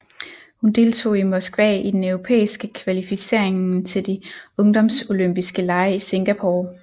Hun deltog i Moskva i den europæiske kvalificeringen til de Ungdomsolympiske lege i Singapore